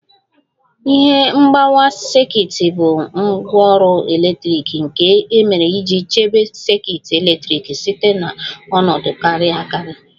Ihe mgbawa sekit bụ ngwaọrụ eletrik nke e mere iji chebe sekit eletrik site na ọnọdụ kariri akari